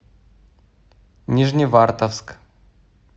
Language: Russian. нижневартовск